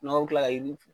N'aw bɛ kila i fɛ